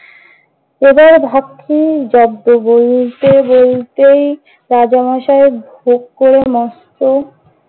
প্রজার ভাত খেয়েই জব্দ। বলতে বলতেই রাজা মশাই ভোগ করে মস্ত।